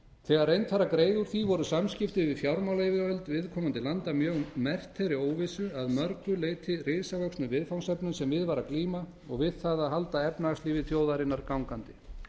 þegar reynt var að greiða úr því voru samskipti við fjármálayfirvöld viðkomandi landa mjög merkt þeirri óvissu og að mörgu leyti risavöxnu viðfangsefnum sem við var að glíma og við það að halda efnahagslífi þjóðarinnar gangandi